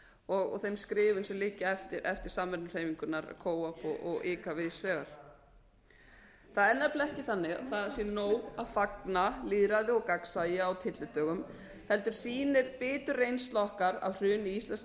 og þeim skrifum sem liggja eftir samvinnuhreyfinguna og ára það er nefnilega ekki þannig að það sé nóg að fagna lýðræði og gagnsæi á tyllidögum heldur sýnir bitur reynsla okkar af hruni íslensks